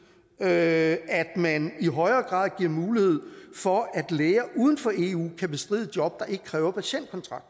at man i højere grad giver mulighed for at læger uden for eu kan bestride job der ikke kræver patientkontakt